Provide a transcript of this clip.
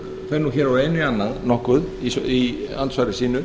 fer hér úr einu í annað nokkuð í andsvari sínu